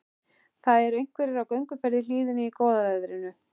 Það eru einhverjir á gönguferð í hlíðinni í góða veðrinu.